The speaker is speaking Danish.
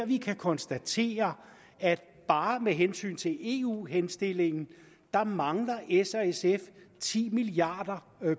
vi konstatere at bare med hensyn til eu henstillingen mangler s og sf ti milliard